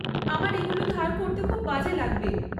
আমার এগুলো ধার করতে খুব বাজে লাগবে।